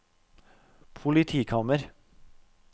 politikammer